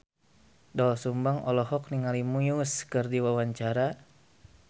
Doel Sumbang olohok ningali Muse keur diwawancara